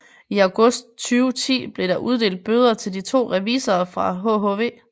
I august 2010 blev der uddelt bøder til de to revisorer fra hhv